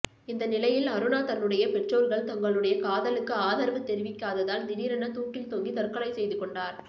இந்த நிலையில் அருணா தன்னுடைய பெற்றோர்கள் தங்களுடைய காதலுக்கு ஆதரவு தெரிவிக்காததால் திடீரென தூக்கில் தொங்கி தற்கொலை செய்து கொண்டார்